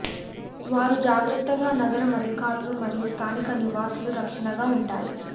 వారు జాగ్రత్తగా నగరం అధికారులు మరియు స్థానిక నివాసులు రక్షణగా ఉంటాయి